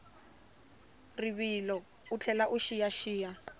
rivilo u tlhela u xiyaxiya